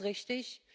Das ist richtig.